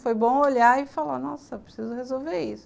Foi bom olhar e falar, nossa, preciso resolver isso.